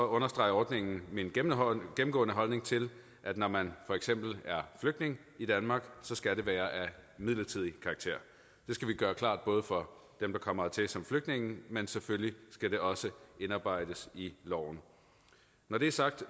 understreger ordningen min gennemgående holdning til at når man for eksempel er flygtning i danmark så skal det være af midlertidig karakter det skal vi gøre klart for dem der kommer hertil som flygtninge men selvfølgelig skal det også indarbejdes i loven når det er sagt